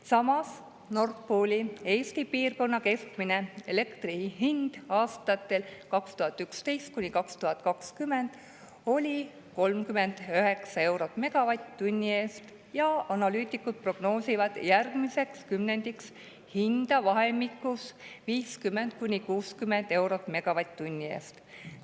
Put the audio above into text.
Samas, Nord Pooli Eesti piirkonna keskmine elektri hind aastatel 2011–2020 oli 39 eurot megavatt-tunni eest ja analüütikud prognoosivad järgmiseks kümnendiks hinda vahemikus 50–60 eurot megavatt-tunni eest.